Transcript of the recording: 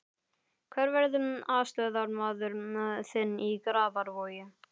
Hver verður aðstoðarmaður þinn í Grafarvogi?